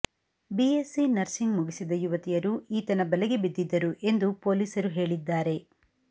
BSc nursing ಮುಗಿಸಿದ ಯುವತಿಯರು ಈತನ ಬಲೆಗೆ ಬಿದ್ದಿದ್ದರು ಎಂದು ಪೊಲೀಸರು ಹೇಳಿದ್ದಾರೆ